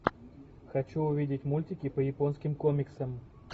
хочу увидеть мультики по японским комиксам